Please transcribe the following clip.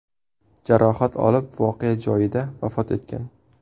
jarohat olib voqea joyida vafot etgan.